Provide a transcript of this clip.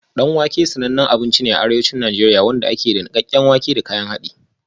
Danwake sanannen gida ne da mutane ke cin abinci